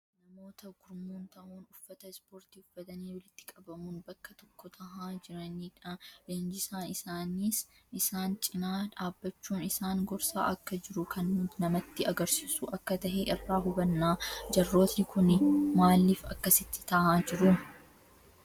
Namoota gurmuun tahuun uffata ispoortii uffatanii walitti qabamuun bakka tokko tahaa jiranii dha. Leenjisaan isaaniis isaan cina dhaabbachuun isaan gorsa akka jiru kan namtti agarsiisu akka tahe irraa hubanna. Jarrooti kuni maliif akkasittiin taha jiru?